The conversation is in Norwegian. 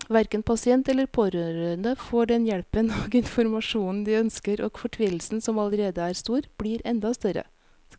Hverken pasient eller pårørende får den hjelpen og informasjonen de ønsker, og fortvilelsen som allerede er stor, blir enda større.